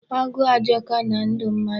Agụụ ajọka na ndụ mmadụ.